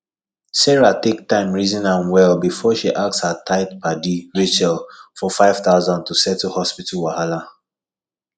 sarah take time reason am well before she ask her tight padi rachel for 5000 to take settle hospital wahala